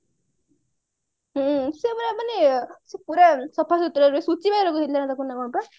ହୁଁ ସେ ପୁରା ମାନେ ସେ ପୁରା ସଫା ସୁତୁରା କଣ ପା